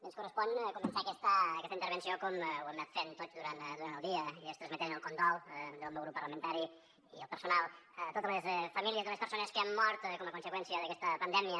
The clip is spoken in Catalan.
ens correspon començar aquesta intervenció com ho hem anat fent tots durant el dia i és transmetent el condol del meu grup parlamentari i el personal a totes les famílies de les persones que han mort com a conseqüència d’aquesta pandèmia